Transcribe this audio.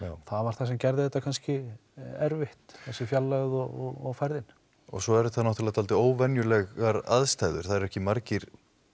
það var það sem gerði þetta kannski erfitt þessi fjarlægð og færðin og svo er þetta náttúrulega dálítið óvenjulegar aðstæður það eru ekki margir